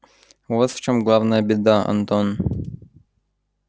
вот в чём главная беда антон